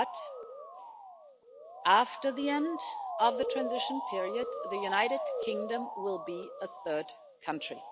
But, after the end of the transition period, the United Kingdom will be a third country.